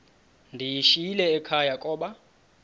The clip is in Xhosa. ndiyishiyile ekhaya koba